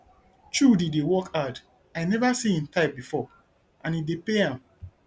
chudi dey work hard i never see im type before and e dey pay am